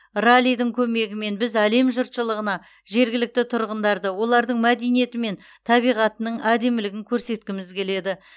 раллидің көмегімен біз әлем жұртшылығына жергілікті тұрғындарды олардың мәдениеті мен табиғатының әдемілігін көрсеткіміз келеді